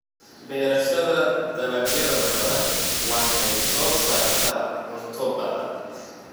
Beerashada dalagyada badan waxay soo saartaa cunto badan.